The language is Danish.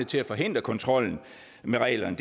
til at forhindre kontrollen med reglerne